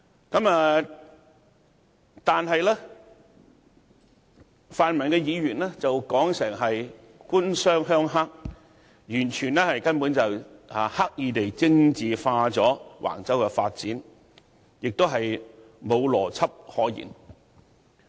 可是，泛民議員卻說成是"官商鄉黑"，這根本是刻意將橫洲發展政治化，並無邏輯可言。